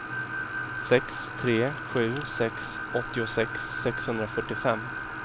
sex tre sju sex åttiosex sexhundrafyrtiofem